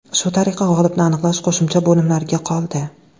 Shu tariqa g‘olibni aniqlash qo‘shimcha bo‘limlarga qoldi.